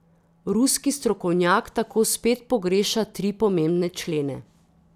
Ruski strokovnjak tako spet pogreša tri pomembne člene.